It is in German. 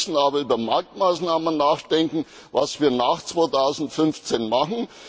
Wir müssen aber über Marktmaßnahmen nachdenken, was wir nach 2015 machen.